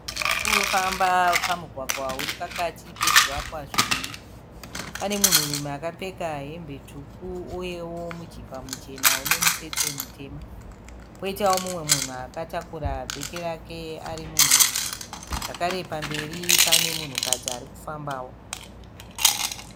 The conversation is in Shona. Vanhu varikufamba pamugwagwa uripakati pezvivakwa zviviri. Pane munhurume akapfeka hembe tsvuku uyewo mujibva muchena unemutsetse mutema. Poitawo mumwe munhu akataura bheki rake ari munhurume, zvakare pamberi pake pane munhukadzi arikufambawo.